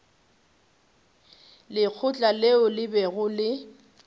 lekgotla leo le bego le